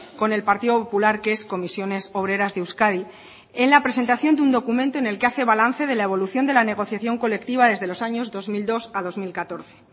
con el partido popular que es comisiones obreras de euskadi en la presentación de un documento en el que hace balance de la evolución de la negociación colectiva desde los años dos mil dos dos mil catorce